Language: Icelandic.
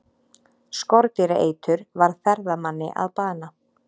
Skordýraeitur varð ferðamanni að bana